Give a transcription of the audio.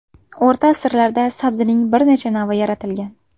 O‘rta asrlarda sabzining bir necha navi yaratilgan.